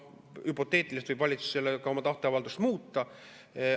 Hüpoteetiliselt võib valitsus oma tahteavaldust ka muuta.